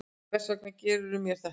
Hvers vegna gerðirðu mér þetta?